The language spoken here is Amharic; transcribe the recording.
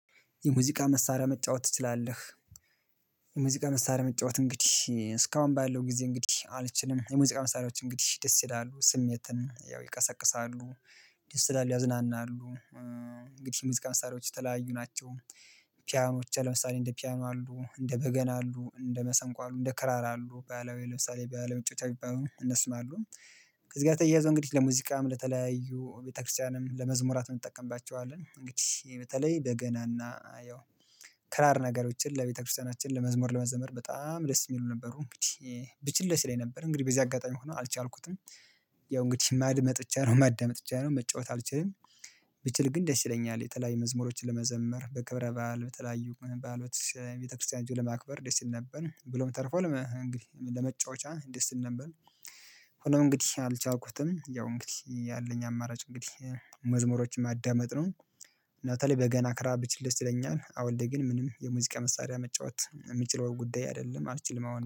የሙዚቃ መሳሪያ መጫወት ትችላለህ? የሙዚቃ መሳሪያ መጫወት እንግዲህ እስካሁን ባለው ጊዜ እንግዲህ አልችልም የሙዚቃ መሳሪያዎች እንግዲህ ደስ ይላሉ ስሜትን ያው ይቀሰቅሳሉ ደስ ይላሉ ያዝናናሉ። እንግዲህ ሙዚቃ መሳሪያዎች የተለያዩ ናቸው። ፒያኖች አሉ ለምሳሌ እንደ ፒያኖ አሉ እንደ በገና አሉ እንደ መሰንቆ አሉ እንደ ክራር አሉ ባህላዊ ለምሳሌ ባለመጫወቻ የሚባሉ እነሱም አሉ። እዚህ ጋር ተያይዞ እንግዲህ ለሙዚቃም ለተለያዩ ቤተክርስቲያንም ለመዝሙራትም እንጠቀምባቸዋለን እንግዲህ በተለይ በገናና ያው ክራር ነገሮችን ለቤተክርስቲያናችን ለመዝሙር ለመዘመር በጣም ደስ የሚለው ነበሩ እንግዲህ። ብችል ደስ ይለኝ ነበር እንግዲህ በዚህ አጋጣሚ ሆኖ አልቻልኩትም። ያው እንግዲህ ማድመጥ ብቻ ነው ማዳመጥ ብቻ ነው መጫወት አልችልም። ብችል ግን ደስ ይለኛል የተለያዩ መዝሙሮችን ለመዘመር በክብረ በዓል በተለያዩ በዓላቶች ቤተክርስቲያን ሄጀ ለማክበር ደስ ይል ነበር ብሎም ተርፏል እንግዲህ ለመጫወቻ ደስ ይል ነበር። ሆኖም እንግዲህ አልቻልኩትም ያው እንግዲህ ያለኝ አማራጭ እንግዲህ መዝሙሮችን ማዳመጥ ነው። እና በተለይ በገና ክራር ብችል ደስ ይለኛል አሁን ላይ ግን ምንም የሙዚቃ መሳሪያ መጫወት የምችለው ጉዳይ አይደለም አልችልም አሁን